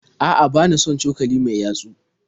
A'a bana son cokalin mai yatsu